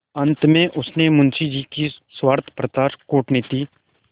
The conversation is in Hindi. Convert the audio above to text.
अंत में उसने मुंशी जी की स्वार्थपरता कूटनीति